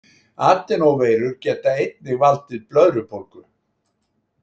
Adenóveirur geta einnig valdið blöðrubólgu.